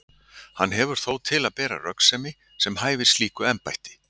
Hann hefur þó til að bera röggsemi sem hæfir slíku embætti.